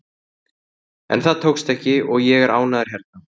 En það tókst ekki og ég er ánægður hérna.